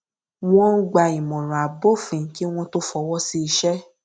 wọn ń gba ìmọràn abófin kí wọn tó fọwọ sí iṣẹ